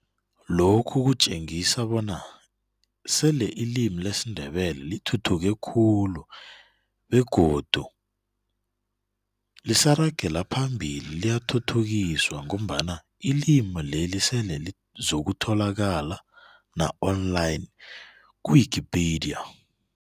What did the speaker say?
Lokhu kutjengisa bona sele ilimi lesiNdebele lithuthuke khulu begodu lisaragela phambili liyathuthukiswa ngombala ilimi leli sele lizokutholaka na online ku-wikipedia.